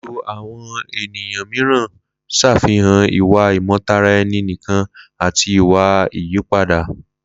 Lílo àwọn ènìyàn mìíràn ń ṣàfihàn ìwà ìmọtara-ẹni-nìkan àti ìwà ìyípadà.